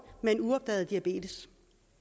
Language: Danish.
med uopdaget diabetes